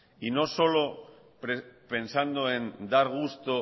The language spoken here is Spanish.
y no solo pensando en dar gusto